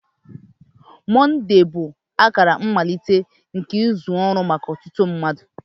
Mọnde bụ akara mmalite nke izu ọrụ maka ọtụtụ mmadụ.